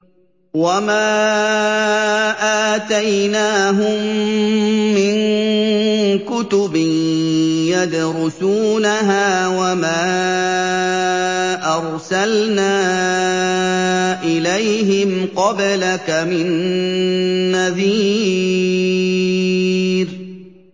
وَمَا آتَيْنَاهُم مِّن كُتُبٍ يَدْرُسُونَهَا ۖ وَمَا أَرْسَلْنَا إِلَيْهِمْ قَبْلَكَ مِن نَّذِيرٍ